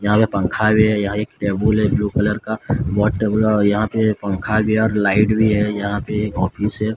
यहां पे पंखा भी है यहां एक टेबल है ब्लू कलर का बहुत टेबल है यहां पे पंखा भी है और लाइट भी है यहां पे एक ऑफिस है।